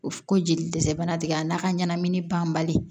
O ko jeli dɛsɛ bana tigɛ a n'a ka ɲɛnɛmini banbali